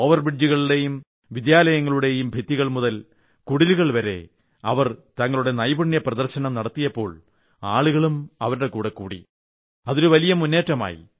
over ബ്രിഡ്ജുകളുടെയും വിദ്യാലയങ്ങളുടെയും ഭിത്തികൾ മുതൽ കുടിലുകൾ വരെ അവർ തങ്ങളുടെ നൈപുണ്യപ്രദർശനം നടത്തിയപ്പോൾ ആളുകളും അവരുടെ കൂടെക്കൂടി അതൊരു വലിയ മുന്നേറ്റമായി